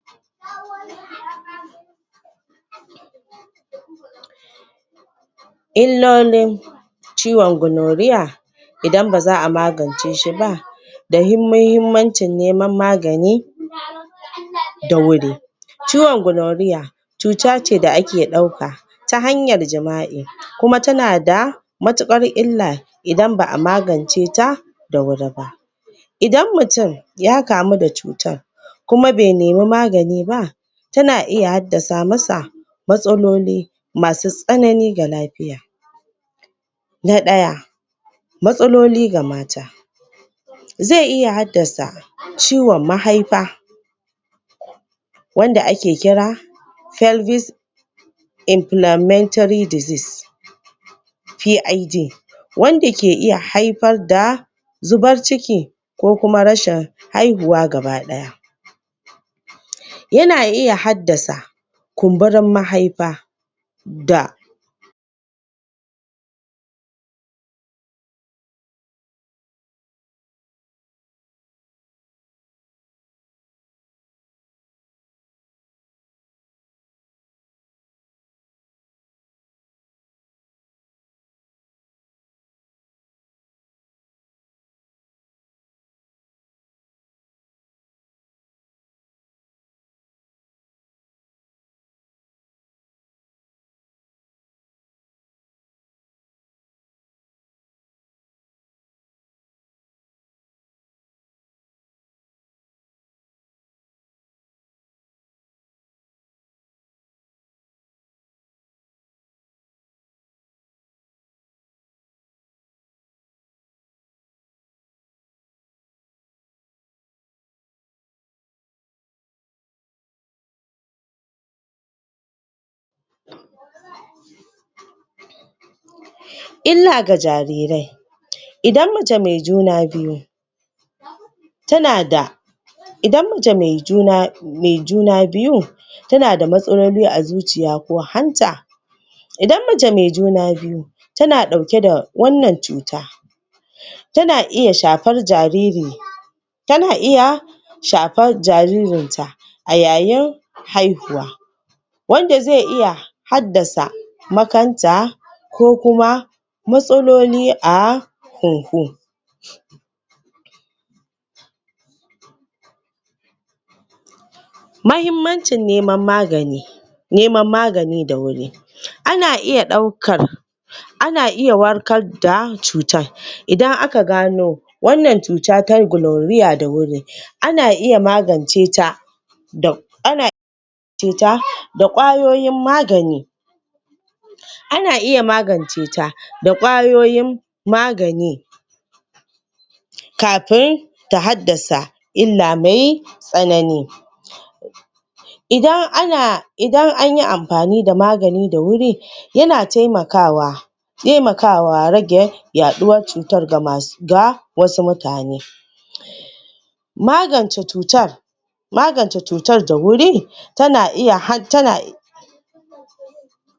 Bayar da ingantaccen ilimi; yaɗa sahihin bayani game da hanyoyin kamuwa da cuta mai karya garkuwar jiki, da hanyoyin gujewa cutar. Kamar amfani da kariya,?? da suka shafi?? kororon roba, da gujewa yin jini, ko? allura da aka riga akayi amfani dasu. Shirye-shirye da faɗakarwa a makarantu, masallatai, coci-coci da gidajen rediyo,? kan illolin cutar, da hanyoyin kare kai,? suna taimakawa wajen rage yawan kamuwa da cutar.?????? Ba hukunci bane; mutane su fahimci cewa, duk wanda ke ɗauke da cutar mai karya garkuwar jiki, ba laifi yayi ba, kuma zai iya rayuwa lafiya, idan yana samun magani ingantacce. Ƙarfafa gwuiwar masu ɗauke da cutar; yin magana da mutane da suka kamu da cutar, ba zai sa a kamu da ita ba. Yin goyon baya da nuna kulawa, zai taimaka???? musu, suji ƙarfin gwuiwa. Na uku; yin amfani da shuwagabanni da malamai, sarakuna. malaman addini da shuwagabbanin al'umma,? su zama jakadu na faɗakarwa,??? ta yadda mutane zasu fi yarda, da saƙon da ake isarwa. Rashin nuna bam-bamci a wajen aiki, da makarantu. Kowa yana da haƙƙin yin aiki, ko karatu, ba tare da tsangwama ba, ko yana ɗauke da cuta mai karya garkuwar jiki. Yaɗa ilimi kan cewa; cuta mai karya garkuwan jiki, ba hukunci bane. Mutane su fahimci cewa, duk wanda??? ke ɗauke da cuta mai